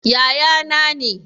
Yaya na ne